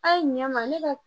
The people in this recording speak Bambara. A' ye ɲɛ ma ne ka